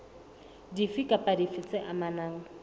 dife kapa dife tse amanang